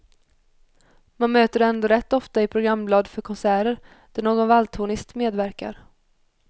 Man möter det ändå rätt ofta i programblad för konserter, där någon valthornist medverkar.